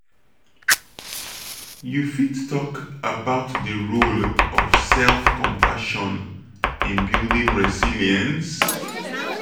you fit talk about di role of self-compassion in building resilience?